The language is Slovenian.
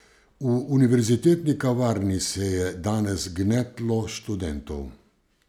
V univerzitetni kavarni se je danes gnetlo študentov.